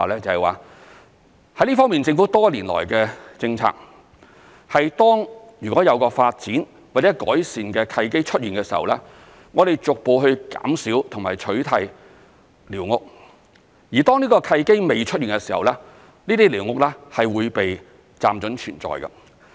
在這方面，政府多年來的政策是，當如果有發展或改善的契機出現的時候，我們會逐步減少和取締寮屋；而當這個契機未出現的時候，這些寮屋是會被"暫准存在"。